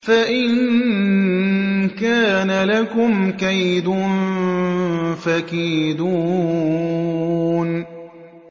فَإِن كَانَ لَكُمْ كَيْدٌ فَكِيدُونِ